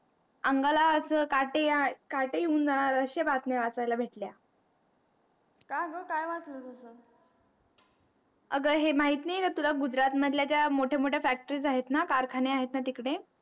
अंगाला असं काटे या काटे येऊन जाणार असे बातमी वाचायला भेटल्या का अगं काय वाचले तू अगं हे माहीत नाही का तुला गुजरात मधल्या ज्या मोठ्या मोठ्या factory ज आहेत ना कारखाने आहेत ना तिकडे